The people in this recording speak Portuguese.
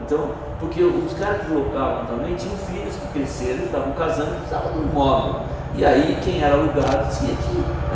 Então, porque os caras que locavam também tinham filhos que cresceram e estavam casando e que precisavam de um imóvel, e aí quem era alugado tinha que ir, né?